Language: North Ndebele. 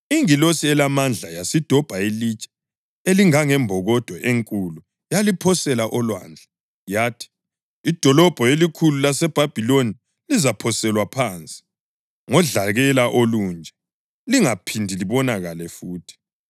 Ingilosi elamandla yasidobha ilitshe elingangembokodo enkulu yaliphosela olwandle, yathi: “Idolobho elikhulu laseBhabhiloni lizaphoselwa phansi, ngodlakela olunje, lingaphindi libonakale futhi.